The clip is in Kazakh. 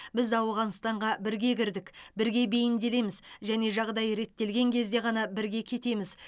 біз ауғанстанға бірге кірдік бірге бейімделеміз және жағдай реттелген кезде ғана бірге кетеміз